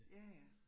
Ja ja